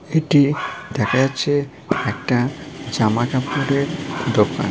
এটি দেখা যাচ্ছে একটা জামা কাপড়ের দোকান।